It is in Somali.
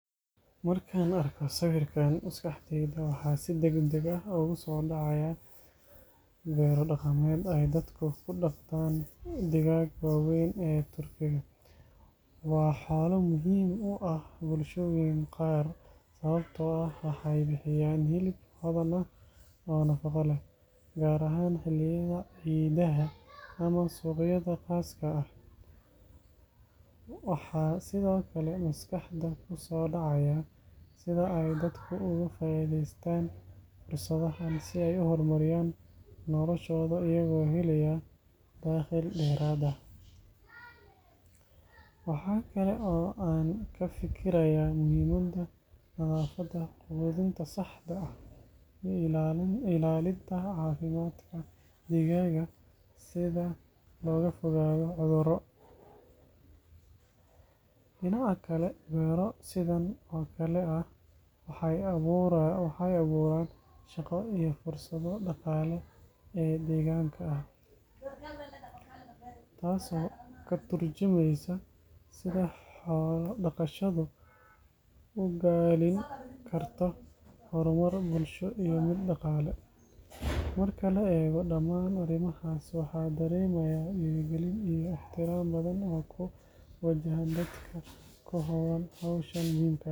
Markaan arko sawirkan, maskaxdayda waxa si deg deg ah ugu soo dhacaya beero dhaqameed ay dadku ku dhaqdaan digaagga waaweyn ee turkiga. Waa xoolo muhiim u ah bulshooyinka qaar, sababtoo ah waxay bixiyaan hilib hodan ah oo nafaqo leh, gaar ahaan xilliyada ciidaha ama suuqyada khaaska ah. Waxaa sidoo kale maskaxda ku soo dhacaya sida ay dadku uga faa’iideystaan fursadahan si ay u horumariyaan noloshooda, iyagoo helaya dakhli dheeraad ah. Waxa kale oo aan ka fikirayaa muhiimadda nadaafadda, quudinta saxda ah, iyo ilaalinta caafimaadka digaagga si looga fogaado cudurro. Dhinaca kale, beero sidan oo kale ah waxay abuuraan shaqo iyo fursado dhaqaale oo deegaanka ah, taas oo ka tarjumaysa sida xoolo dhaqashadu ugaalin karto horumar bulsho iyo mid dhaqaale. Marka la eego dhammaan arrimahaas, waxaan dareemayaa dhiirigelin iyo ixtiraam badan oo ku wajahan dadka ku hawlan hawshan muhiimka ah.